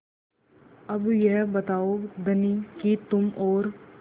अब यह बताओ धनी कि तुम और